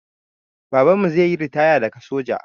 Babanmu zaiyi ritaya daga soja